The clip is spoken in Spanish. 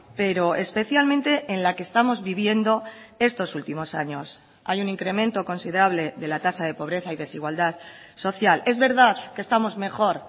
pero especialmente en la que estamos viviendo estos últimos años hay un incremento considerable de la tasa de pobreza y desigualdad social es verdad que estamos mejor